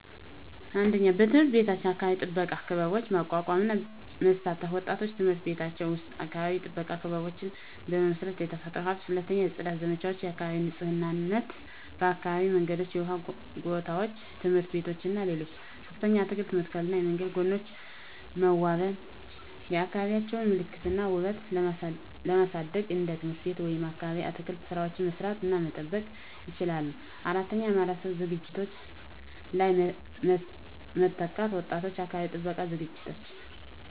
1. በትምህርት ቤት የአካባቢ ጥበቃ ክበቦች ማቋቋም እና መሳተፍ ወጣቶች በትምህርት ቤቶቻቸው ውስጥ የአካባቢ ጥበቃ ክበቦችን በመመስረት፣ የተፈጥሮ ሀብትን። 2. የጽዳት ዘመቻዎች (የአካባቢ ንፁህነት) የአካባቢ መንገዶች፣ የውሃ ጎታዎች፣ ትምህርት ቤቶች እና ሌሎች 3. አትክልት መተከልና የመንገድ ጎኖች መዋበን የአካባቢዎቻቸውን ምልክት እና ውበት ለማሳደግ እንደ ትምህርት ቤት ወይም አካባቢ የአትክልት ሥራዎችን መስራት እና መጠበቅ ይችላሉ። 4. የማህበረሰብ ዝግጅቶች ላይ መተካት ወጣቶች የአካባቢ ጥበቃ ዝግጅቶች